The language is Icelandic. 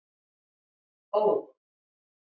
Ó